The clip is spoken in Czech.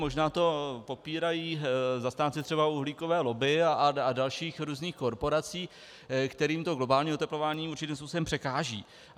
Možná to popírají zastánci třeba uhlíkové lobby a dalších různých korporací, kterým to globální oteplování určitým způsobem překáží.